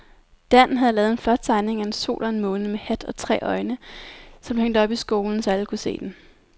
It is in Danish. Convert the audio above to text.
Dan havde lavet en flot tegning af en sol og en måne med hat og tre øjne, som blev hængt op i skolen, så alle kunne se den.